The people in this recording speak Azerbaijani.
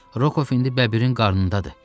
Rokov indi bəbirin qarnındadır.